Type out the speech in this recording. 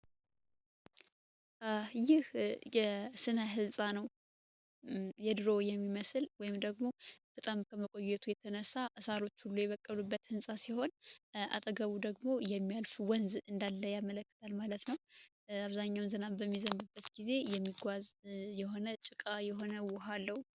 ይህ የስነ ህንፃ የድሮ የሚመስል ወይም ደግሞ በጣም ከመቆየቱ የተነሳ ሳሮቹ ሁላ የበቀሉበት ህንፃ ሲሆን፤ አጠገቡ ደግሞ የሚያልፍ ወንዝ እንዳለ ያመላክታል ማለት ነው። አብዛኛውን ዝናብ በሚዘንብበት ጊዜ የሚጓዝ የሆነ ጭቃ የሆነ ውሃ አለው።